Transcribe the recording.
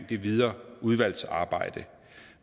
det videre udvalgsarbejde